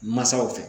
Masaw fɛ